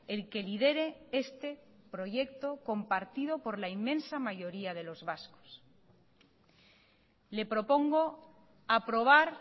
el que lidere este proyecto compartido por la inmensa mayoría de los vascos le propongo aprobar